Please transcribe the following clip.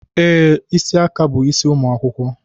Ee, isi aka bu isi ụmụ akwụkwọ